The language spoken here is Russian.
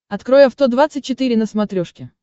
открой авто двадцать четыре на смотрешке